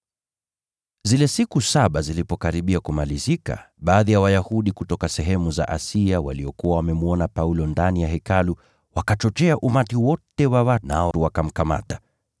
Zile siku saba zilipokaribia kumalizika, baadhi ya Wayahudi kutoka sehemu za Asia waliokuwa wamemwona Paulo ndani ya Hekalu, wakachochea umati wote wa watu, nao wakamkamata.